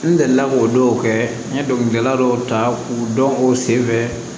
N delila k'o dɔw kɛ n ye dɔnkilidala dɔw ta k'u dɔn k'u sen fɛ